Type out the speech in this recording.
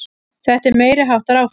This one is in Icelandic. Þetta er meiriháttar áfall!